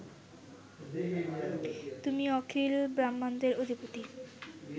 তুমি অখিল ব্রাহ্মাণ্ডের অধিপতি